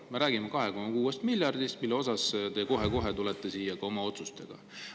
Me räägime 26 miljardist, mille kohta käivatest otsustest te tulete kohe-kohe ka siia.